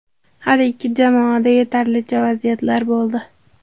Har ikki jamoada yetarlicha vaziyatlar bo‘ldi.